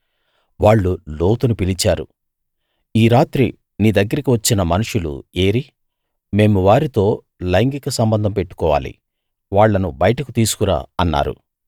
వాళ్ళు లోతును పిలిచారు ఈ రాత్రి నీ దగ్గరికి వచ్చిన మనుషులు ఏరీ మేము వారితో లైంగిక సంబంధం పెట్టుకోవాలి వాళ్ళను బయటకు తీసుకు రా అన్నారు